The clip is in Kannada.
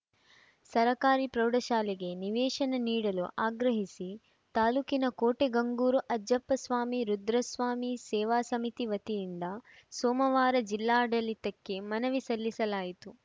ಸರ್ಕಾರಿ ಪ್ರೌಢಶಾಲೆಗೆ ನಿವೇಶನ ನೀಡಲು ಆಗ್ರಹಿಸಿ ತಾಲೂಕಿನ ಕೋಟೆಗಂಗೂರು ಅಜ್ಜಪ್ಪ ಸ್ವಾಮಿ ರುದ್ರಸ್ವಾಮಿ ಸೇವಾ ಸಮಿತಿ ವತಿಯಿಂದ ಸೋಮವಾರ ಜಿಲ್ಲಾಡಳಿತಕ್ಕೆ ಮನವಿ ಸಲ್ಲಿಸಲಾಯಿತು